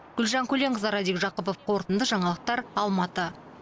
гүлжан көленқызы радик жақыпов қорытынды жаңалықтар алматы